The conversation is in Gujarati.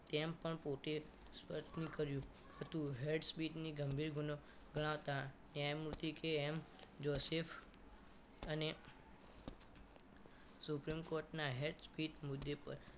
તેમ પણ પોતે સ્વપ્ન કર્યું હતું હેડ સ્પીચને ગંભીર ગુનો ગણાવતા ન્યાયમૂર્તિ કે એમ જોષીફ અને supreme court ના હેડ સ્પીચ મુદ્દે પર